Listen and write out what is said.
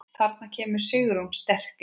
Þarna kemur Sigrún sterk inn.